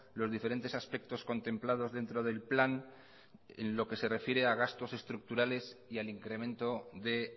los diferentes aspectos contemplados dentro del plan en lo que se refiere a gastos estructurales y al incremento de